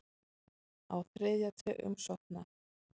Á þriðja tug umsókna